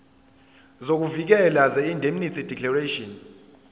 sokuvikeleka seindemnity declaration